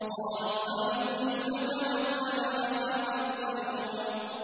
۞ قَالُوا أَنُؤْمِنُ لَكَ وَاتَّبَعَكَ الْأَرْذَلُونَ